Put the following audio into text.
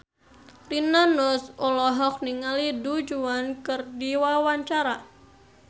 Rina Nose olohok ningali Du Juan keur diwawancara